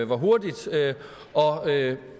hvor hurtigt